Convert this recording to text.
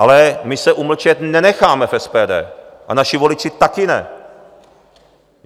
Ale my se umlčet nenecháme v SPD a naši voliči taky ne.